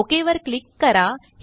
okay वर क्लिक करा